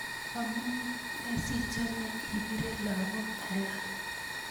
amune sichome ipire lakok alak